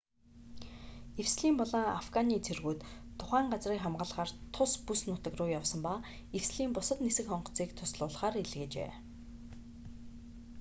эвслийн болон афганы цэргүүд тухайн газрыг хамгаалахаар тус бүс нутаг руу явсан ба эвслийн бусад нисэх онгоцыг туслуулахаар илгээжээ